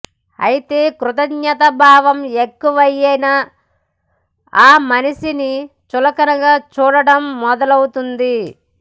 అయితే కృతజ్ఞతాభావం ఎక్కువైనా ఆ మనిషిని చులకనగా చూడడం మొదలవుతుంది